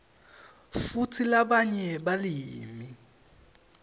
futsi labanye balimi